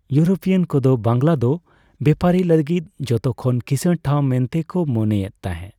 European ᱠᱚᱫᱚ ᱵᱟᱝᱞᱟ ᱫᱚ ᱵᱮᱯᱟᱨᱤ ᱞᱟᱹᱜᱤᱫ ᱡᱷᱚᱛᱚᱠᱷᱚᱱ ᱠᱤᱥᱟᱹᱲ ᱴᱷᱟᱣ ᱢᱮᱱᱛᱮᱠᱚ ᱢᱚᱱᱮ ᱛᱟᱦᱮᱸ ᱾